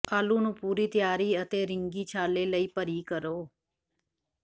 ਆਲੂ ਨੂੰ ਪੂਰੀ ਤਿਆਰੀ ਅਤੇ ਰਿੰਗੀ ਛਾਲੇ ਲਈ ਭਰੀ ਕਰੋ